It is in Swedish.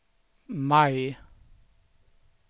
maj